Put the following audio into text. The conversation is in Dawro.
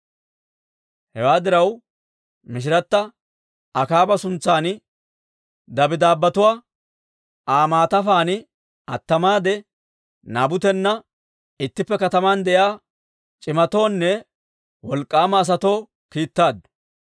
Hewaa diraw, machchatta Akaaba suntsan dabddaabbetuwaa Aa maatafaan attamaade Naabutena ittippe kataman de'iyaa c'imatoonne wolk'k'aama asatoo kiittaaddu.